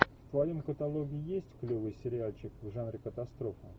в твоем каталоге есть клевый сериальчик в жанре катастрофа